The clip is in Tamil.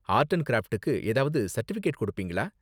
ஆர்ட் அண்ட் க்ராஃப்டுக்கு ஏதாவது சர்டிபிகேட் கொடுப்பீங்களா?